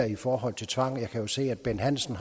i forhold til tvang jeg kan jo se at bent hansen